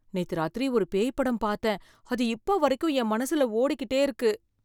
நேத்து ராத்திரி ஒரு பேய் படம் பார்த்தேன், அது இப்ப வரைக்கும் என் மனசுல ஓடிக்கிட்டே இருக்கு.